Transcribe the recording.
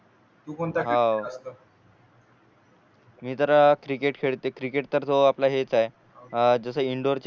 तू कोणता खेळ खेळतो